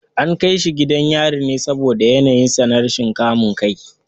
An kai shi gidan yari ne saboda yanayinsa na rashin kamun kai.